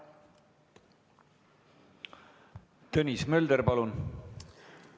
Tõnis Mölder, palun!